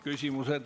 Küsimused.